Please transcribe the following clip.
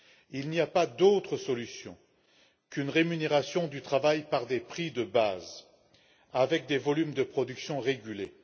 Il n'y a pas d'autre solution qu'une rémunération du travail par des prix de base avec des volumes de production régulés.